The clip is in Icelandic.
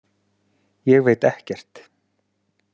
Ég veit ekkert.